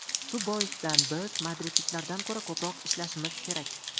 Shu boisdan biz madridliklardan ko‘ra ko‘proq ishlashimiz kerak.